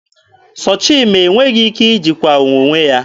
Sọchima enweghị ike ijikwa onwe ya.